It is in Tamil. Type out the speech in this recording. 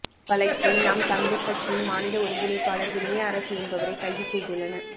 வழக்கில் நாம் தமிழர் கட்சியின் மாநில ஒருங்கிணைப்பாளர் வினயரசு என்பவரை கைது செய்துள்ளனர்